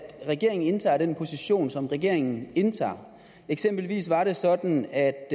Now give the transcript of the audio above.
regeringen indtager den position som regeringen indtager eksempelvis var det sådan at